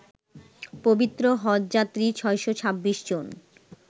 পবিত্র হজযাত্রী ৬২৬ জন